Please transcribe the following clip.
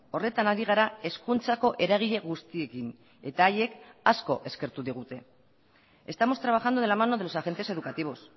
horretan ari gara hezkuntzako eragile guztiekin eta haiek asko eskertu digute estamos trabajando de la mano de los agentes educativos